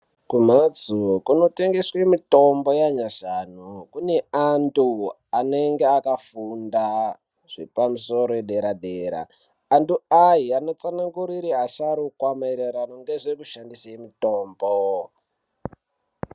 Kumhatso kunotengeswe mitombo yanyashanu kune antu anenge akafunda zvepamusoro edera dera antu aya anotsanangurire asharukwa maererano ngezvekushandise mutombo.